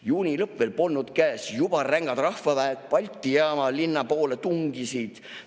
Juuli lõpp veel polnud käes, juba rängad rahvaväed Balti jaama, linna poole tungisid.